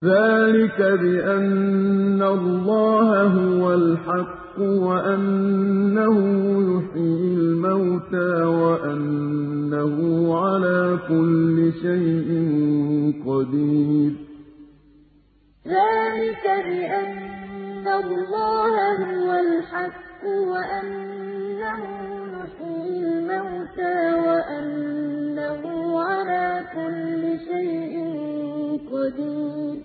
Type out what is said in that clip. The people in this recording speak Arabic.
ذَٰلِكَ بِأَنَّ اللَّهَ هُوَ الْحَقُّ وَأَنَّهُ يُحْيِي الْمَوْتَىٰ وَأَنَّهُ عَلَىٰ كُلِّ شَيْءٍ قَدِيرٌ ذَٰلِكَ بِأَنَّ اللَّهَ هُوَ الْحَقُّ وَأَنَّهُ يُحْيِي الْمَوْتَىٰ وَأَنَّهُ عَلَىٰ كُلِّ شَيْءٍ قَدِيرٌ